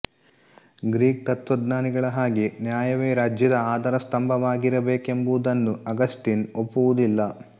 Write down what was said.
Greek ತತ್ತ್ವಜ್ಞಾನಿಗಳ ಹಾಗೆ ನ್ಯಾಯವೇ ರಾಜ್ಯದ ಆಧಾರ ಸ್ಥಂಭವಾಗಿರಬೇಕೆಂಬುದನ್ನು ಆಗಸ್ಟೀನ್ ಒಪ್ಪುವುದಿಲ್ಲ